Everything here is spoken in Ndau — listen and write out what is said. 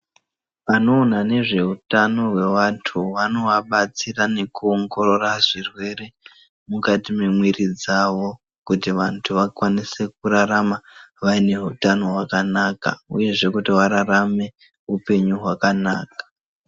Vanoona nezvehutano hwentu vanovabatsira nekuongorora zvirwere mukati memwiri dzavo. Kuti vantu vakwanise kurarama vaine hutano hwakanaka, uyezve kuti vararame upenyu hwakanaka.